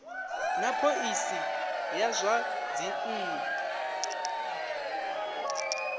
na phoisi ya zwa dzinnu